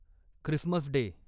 Christmas day